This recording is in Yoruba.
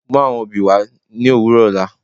Mú àwọn obì wà ní òwùrọ̀ òlà.